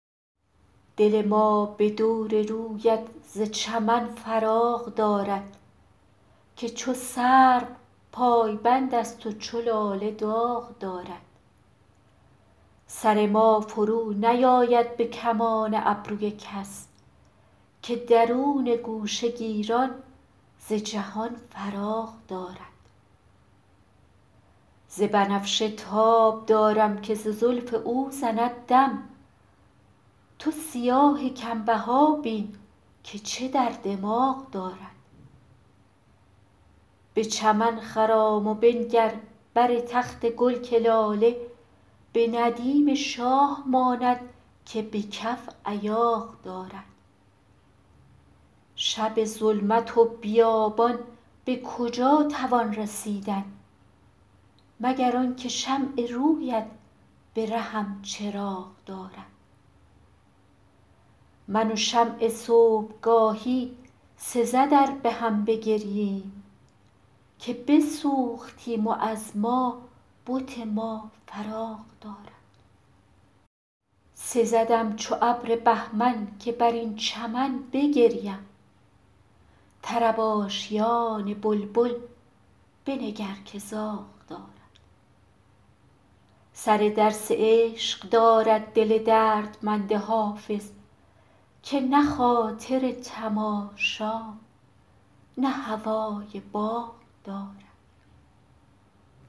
دل ما به دور رویت ز چمن فراغ دارد که چو سرو پایبند است و چو لاله داغ دارد سر ما فرونیآید به کمان ابروی کس که درون گوشه گیران ز جهان فراغ دارد ز بنفشه تاب دارم که ز زلف او زند دم تو سیاه کم بها بین که چه در دماغ دارد به چمن خرام و بنگر بر تخت گل که لاله به ندیم شاه ماند که به کف ایاغ دارد شب ظلمت و بیابان به کجا توان رسیدن مگر آن که شمع روی ات به رهم چراغ دارد من و شمع صبح گاهی سزد ار به هم بگرییم که بسوختیم و از ما بت ما فراغ دارد سزدم چو ابر بهمن که بر این چمن بگریم طرب آشیان بلبل بنگر که زاغ دارد سر درس عشق دارد دل دردمند حافظ که نه خاطر تماشا نه هوای باغ دارد